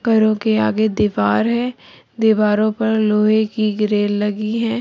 घरों के आगे दीवार है दीवारो पर लोहे की ग्रिल लगी है।